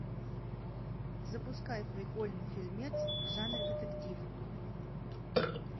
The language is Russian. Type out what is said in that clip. запускай прикольный фильмец в жанре детектив